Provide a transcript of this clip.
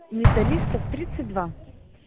металлистов тридцать два